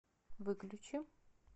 выключи